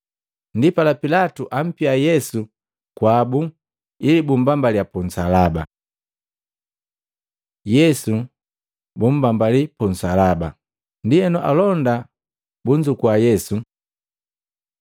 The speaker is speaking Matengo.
Ndipala Pilatu ampia Yesu kwabu ili bummbambaliya punsalaba. Yesu buntenda kumbambali pu nsalaba Matei 27:32-44; Maluko 15:21-32; Luka 23:26-42 Ndienu alonda bunzukua Yesu